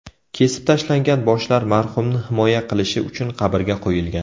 Kesib tashlangan boshlar marhumni himoya qilishi uchun qabrga qo‘yilgan.